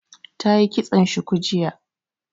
Ta yi kitson shuku jiya